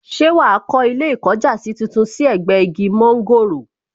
Ṣé wàá kó ilé ìkọjásí tuntun sí ẹ̀gbẹ́ igi mọ́ńgòrò